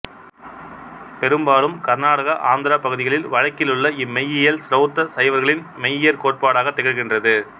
பெரும்பாலும் கர்நாடகா ஆந்திராப் பகுதிகளில் வழக்கிலுள்ள இம்மெய்யியல் சிரௌத்த சைவர்களின் மெய்யியற்கோட்பாடாகத் திகழ்கின்றது